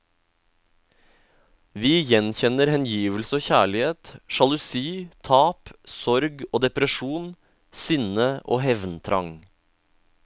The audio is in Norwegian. Vi gjenkjenner hengivelse og kjærlighet, sjalusi, tap, sorg og depresjon, sinne og hevntrang.